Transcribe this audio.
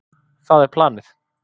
Það er planið.